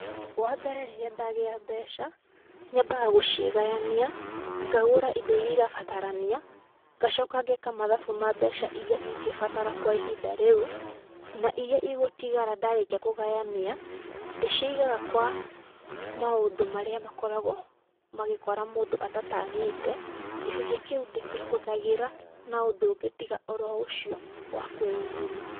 Wa mbere rĩrĩa ndagĩa mbeca, nyambaga gũciganyania, ngagũra indo irĩa irabatarania ngacoka ngeka mathabu ma mbeca irĩa ingĩbatara kwa ihinda rĩu. Na irĩa igũtigara ndarĩkia kũganyania ndĩcigaga kwa maũndũ marĩa makoragwo magĩkora mũndũ atatanyĩte, gĩcunjĩ kĩu ndĩkĩhũthagĩra na ũndũ ũngĩ tiga o ro ũcio wakwĩyumĩria.